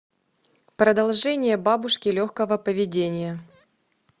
продолжение бабушки легкого поведения